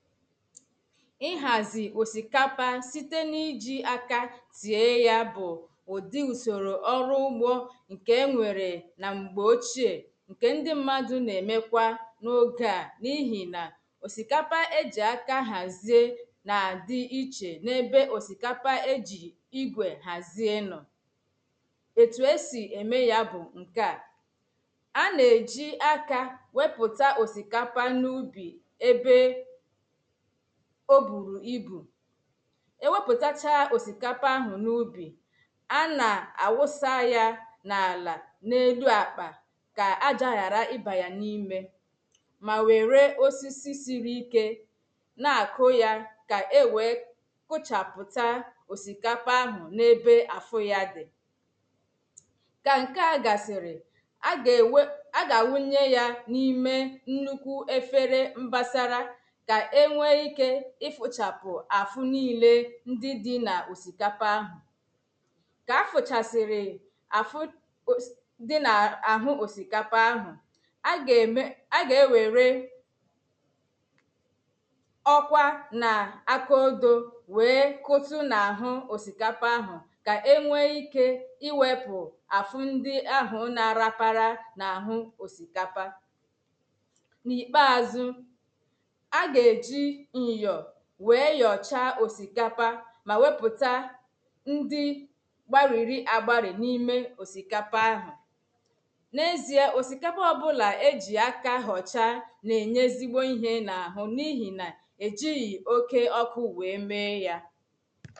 Ị̀hazi òsíkapa site n’iji àka tie ya bụ̄ Ụ̀di ụsoro ọrụ ụ̀gbo ṅ̀ke eṅwērē na m̀gbe ochie. ṅke ṅdi mmadụ nēmēkwa n’oge a nihi na ọ̀síkápá eji àká hazie na-adi ìche n’ebe ọ̀síkapa eji ìgwè hazie nọọ Etu esi eme ya bụ ṅke a A na-eji àka wepụta ọ̀síkapa n’ụbi Ēbee O buru ìbū Ewepụtacha ọ̀síkapa ahụ n’ụbi A na-awụsa ya n’àlà n’elu akpa Ka àja ghara iba ya nímè Ma wērē osịsị siri ìké Na-akụ ya ka éwé kụchapụta Kapa ahụ n’ebe afụ ya di Ka ṅke a gasiri A ga éwé a ga awụṅye ya nime ṅnukwu efere mbasara Ka éṅwé ìke ifụchapụ afụ niile ṅdi di na ọ̀síkapa ahụ Ka afụchasiri afụ ọs di na áhụ̄ ọ̀síkapa ahu A ga ēmē a ga ēwēreee Ọ̀kwà n’akụodoo wee kụtụ n’áhū ọ̀síkapa àhụ̀. Ka eṅwe ìke iwepụ afụ ndi àhụ̀ na-arapara n’áhū ọ̀síkapa. N’ikpazụ A ga eji ṅyọọ wee yọcha ọ̀síkápá ma wepụta di gbarịrị agbarị nime ọ̀síkapa àhụ̀ n’ezie a ọ̀síkápá ọbụla eji ákà họcha na-eṅye ezigbo ihe n’áhụ̄ nihi na ejighị òkè ọkụ wee mee ya